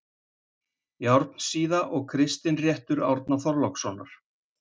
Járnsíða og Kristinréttur Árna Þorlákssonar.